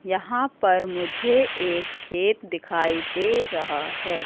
यहां पर मुझे एक खेत दिखाई दे रहा है।